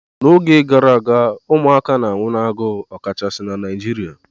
N'oge gara aga ụmụaka na-anwụ n'agụụ, ọkachasị na Naịjirịa